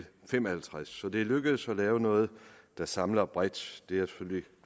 fem og halvtreds så det er lykkedes at lave noget der samler bredt